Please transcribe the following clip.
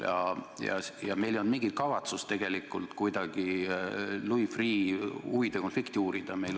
Meil ei olnud tegelikult mingit kavatsust kuidagi Louis Freeh' huvide konflikti uurida.